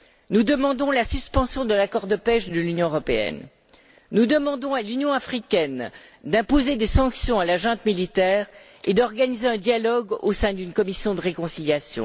Nous demandons la suspension de l'accord de pêche de l'Union européenne. Nous demandons à l'Union africaine d'imposer des sanctions à la junte militaire et d'organiser un dialogue au sein d'une commission de réconciliation.